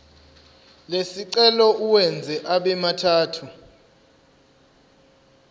lesicelo uwenze abemathathu